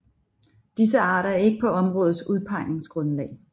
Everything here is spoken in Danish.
Disse arter er ikke på områdets udpegningsgrundlag